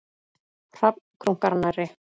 Hrafn krunkar nærri.